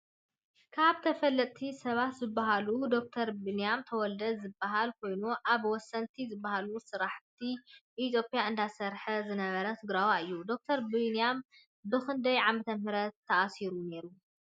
ካብ ተፈለጥቲ ሰባት ዝብሃሉ ደ/ር ቢንያም ተወልደ ዝበሃል ኮይኑ ኣብ ወሰንቲ ዝበሃሉ ስራሕቲታት ኢትዮጰያ እንዳሰረሐ ዝነበረ ትግረዋይ እዩ። ዶ/ር ቢንያም ብክንዳይ ዓመተምህረት ተኣሲሩ ነይሩ ?